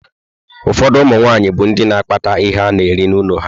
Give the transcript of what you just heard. Ụfọdụ ụmụ nwaanyị bụ ndị na akpata ihe ana-eri n'ụlọ ha.